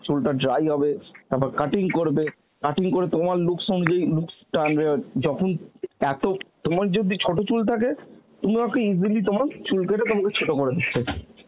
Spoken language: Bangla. চুলটা dry হবে, তারপর cutting করবে, cutting পরে তোমার looks যেই looks টা আনবে অ্যাঁ যখন এত তোমার যদি ছোট চুল থাকে তোমাকে easily তোমার চুল করে তোমাকে ছোট করে দেবে